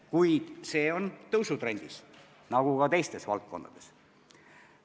Ja see näitaja on tõusutrendis, nagu ka teistes valdkondades.